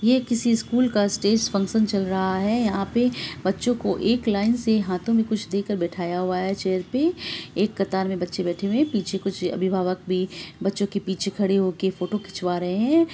ये किसी स्कूल का स्टेज फंक्शन चल रहा है| यहाँ पे बच्चों को एक लाइन से हाथो में कुछ देके बिठाया गया है| एक चेयर एक कतार में बच्चे बैठे हुए हैं पीछे कुछ अभिभावक भी बच्चे के पीछे खड़े होके फोटो खिचवा रहे हैं।